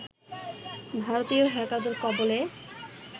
ভারতীয় হ্যাকারদের কবলে